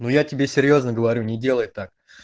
ну я тебе серьёзно говорю не делай так